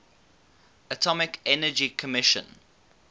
atomic energy commission